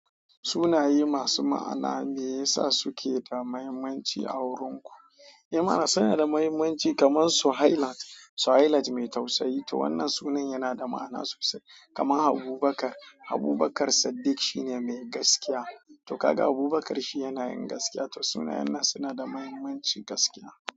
Sunaye masu ma'ana mai yasa suke da mahimmanci a wurin ku? Eh ma'ana suna da mahimmanci kamar Suhayla. Suhayla mai tausayi. To wannan sunan yana da ma'ana sosai. Kamar Abubakar. Abubakar Saddiq shine mai gaskiya. To kaga Abubakar shi yana yin gaskiya. To sunayen nan suna da mahimmancin gaskiya.